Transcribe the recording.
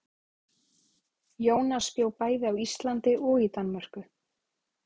Jónas bjó bæði á Íslandi og í Danmörku.